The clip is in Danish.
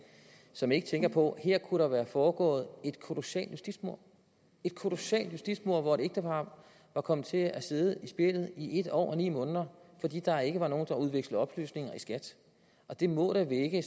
som ikke tænker på at der her kunne være foregået et kolossalt justitsmord et kolossalt justitsmord hvor et ægtepar var kommet til at sidde i spjældet i en år og ni måneder fordi der ikke var nogen der udvekslede oplysninger i skat det må da vække